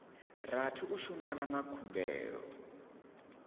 rathi u shumana na khumbelo